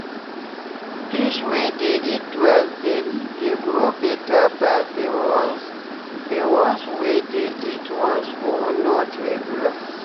fish wey dey eat twice daily dey grow better pass the ones the ones wey dey eat once or not regular